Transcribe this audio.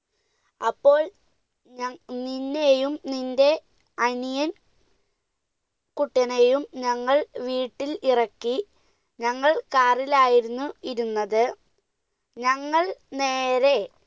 അപ്പോൾ ഞ~ നിന്നെയും നിന്റെ അനിയൻ കുട്ടനെയും ഞങ്ങൾ വീട്ടിൽ ഇറക്കി, ഞങ്ങൾ car ലായിരുന്നു ഇരുന്നത്. ഞങ്ങൾ നേരെ